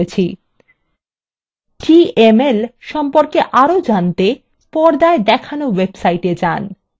dml সম্পর্কে আরো জানতে পর্দায় দেখানো websiteএ যান